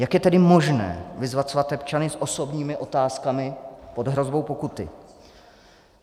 Jak je tedy možné vyzvat svatebčany s osobními otázkami pod hrozbou pokuty?